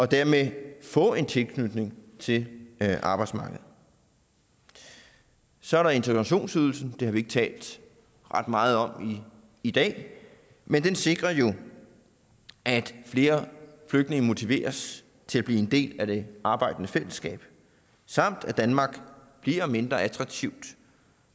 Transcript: dermed kan få en tilknytning til arbejdsmarkedet så er der integrationsydelsen har vi ikke talt ret meget om i dag men den sikrer jo at flere flygtninge motiveres til at blive en del af det arbejdende fællesskab samt at danmark bliver mindre attraktivt